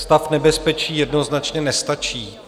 Stav nebezpečí jednoznačně nestačí.